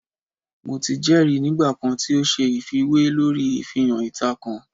Mo ti jẹri nigba kan ti o ṣe ifiwe lori ifihan ita kan